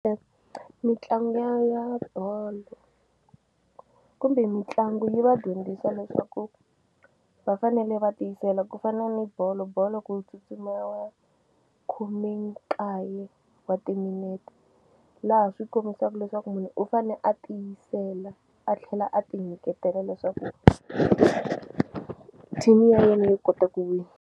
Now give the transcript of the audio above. Mitlangu ya ya bolo kumbe mitlangu yi va dyondzisa leswaku va fanele va tiyisela ku fana ni bolo bolo ku tsutsumeliwa khome nkaye wa timinete laha swi kombisaku leswaku munhu u fane a tiyisela a tlhela a ti nyiketela leswaku team ya yena yi kota ku wina.